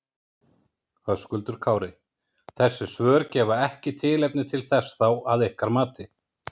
Höskuldur Kári: Þessi svör gefa ekki tilefni til þess þá að ykkar mati?